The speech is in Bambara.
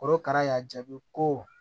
Korokara y'a jaabi ko